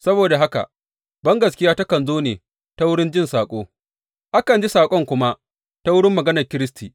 Saboda haka, bangaskiya takan zo ne ta wurin jin saƙo, akan ji saƙon kuma ta wurin maganar Kiristi.